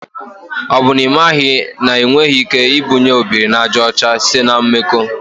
O bụ na imaghị na enweghị ike ibunye obiri na aja ocha site na mmakọ.